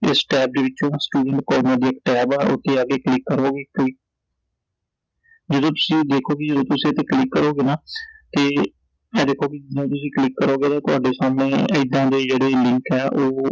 ਇਸ tab ਦੇ ਵਿਚੋਂ student corner ਦੀ ਇਕ tab ਆ ਓਥੇ ਜਾਕੇ click ਕਰੋਗੇ ਤੁਹੀ ਜਿਹੜੇ ਤੁਸੀਂ ਦੇਖੋਗੇ ਕਿ ਜਿਵੇਂ ਤੁਸੀਂ ਇਥੇ click ਕਰੋਂਗੇ ਨਾ ਤੇ ਐ ਦੇਖੋ ਜਿਵੇਂ ਤੁਸੀਂ click ਕਰੋਂਗੇ ਤਾਂ ਥੋਡੇ ਸਾਹਮਣੇ ਏਦਾਂ ਦੇ ਜਿਹੜੇ link ਐ ਉਹ